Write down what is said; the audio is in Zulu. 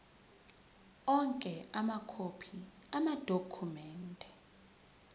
onke amakhophi amadokhumende